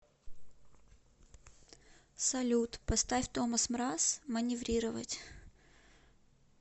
салют поставь томас мраз маневрировать